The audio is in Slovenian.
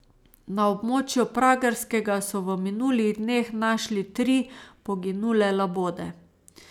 Na območju Pragerskega so v minulih dneh našli tri poginule labode.